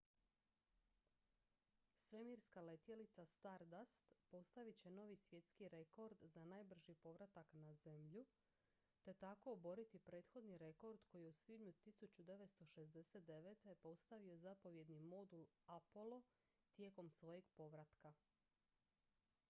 svemirska letjelica stardust postavit će novi svjetski rekord za najbrži povratak na zemlju te tako oboriti prethodni rekord koji je u svibnju 1969. postavio zapovjedni modul apollo tijekom svojeg povratka